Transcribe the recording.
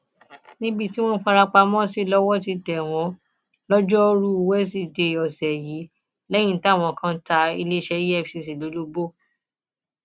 níbi tí wọn farapamọ sí lọwọ ti tẹ wọn lọjọruú wẹsídẹẹ ọsẹ yìí lẹyìn táwọn kan ta iléeṣẹ efcc lólobó